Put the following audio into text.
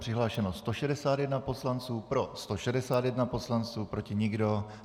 Přihlášeno 161 poslanců, pro 161 poslanců, proti nikdo.